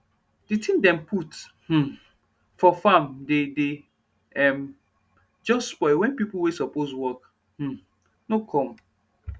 de tin dem put um for farm dey dey um jus spoil wen pipo wey suppose work um nor come